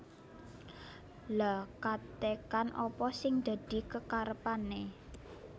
Lha katekan apa sing dadi kekarepane